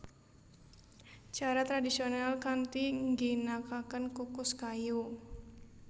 Cara tradisional kanthi ngginakaken kukus kayu